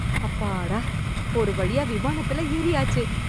அப்பாடா... ஒரு வழியா விமானத்துல ஏறியாச்சு.